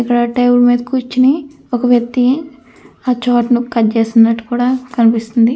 ఇక్కడ టేబుల్ మీద ఒక వ్యక్తి కూర్చొని ఆ చాటల్ని కట్ చేస్తున్నట్టు కూడా కనిపిస్తూ ఉంది.